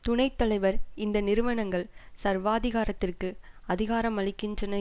துணை தலைவர் இந்த நிறுவனங்கள் சர்வாதிகாரத்திற்கு அதிகாரமளிக்கின்றன